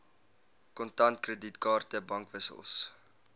kontant kredietkaarte bankwissels